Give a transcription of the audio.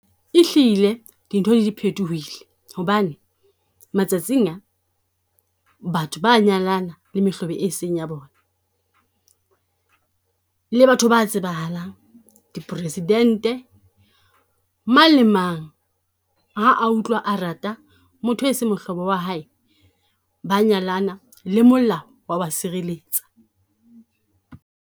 E hlile dintho di phethohile hobane matsatsing a, batho ba a nyalana le mehlobo e seng ya bona. Le batho ba tsebahalang, di President-e. Mang le mang ha a utlwa a rata motho e seng mohlobo wa hae, ba nyalana le molao wa ba sireletsa.